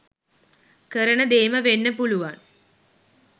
කරන දේම වෙන්න පුළුවන්.